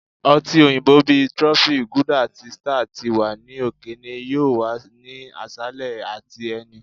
ọti oyinbo bi trophy, guilder ati star ti wa ni okeene yoo wa ni aṣalẹ ati ẹni.